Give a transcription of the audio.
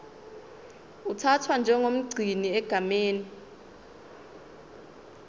uthathwa njengomgcini egameni